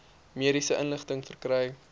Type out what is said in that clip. mediese inligting verkry